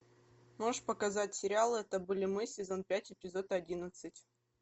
можешь показать сериал это были мы сезон пять эпизод одиннадцать